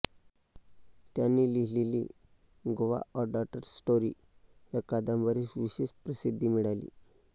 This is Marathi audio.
त्यांनी लिहिलेली गोवा अ डॉटर्स स्टोरी या कादंबरीस विशेष प्रसिद्धी मिळाली